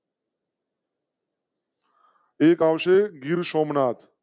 એક આવશે ગીરસોમનાથ